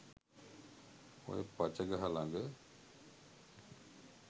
ඔය පච ගහ ළඟ